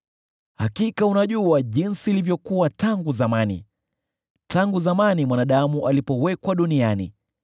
“Hakika unajua jinsi ilivyokuwa tangu zamani, tangu zamani mwanadamu alipowekwa duniani,